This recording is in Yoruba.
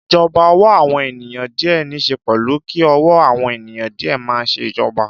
Ìjọba ọ̀wọ́ àwọn ènìyàn díẹ̀ níṣe pẹ̀lú kí ọ̀wọ́ àwọn ènìyàn díẹ̀ máa ṣe ìjọba.